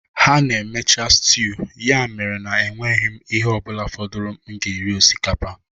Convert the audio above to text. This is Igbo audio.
Ha na-emecha stew ya mere na enweghị m ihe ọ bụla fọdụrụ m ga-eri osikapa